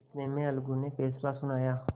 इतने में अलगू ने फैसला सुनाया